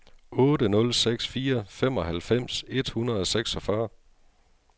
otte nul seks fire femoghalvfems et hundrede og seksogfyrre